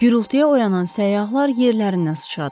Gürültüyə oyanan səyyahlar yerlərindən sıçradılar.